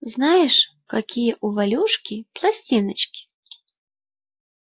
знаешь какие у валюшки пластиночки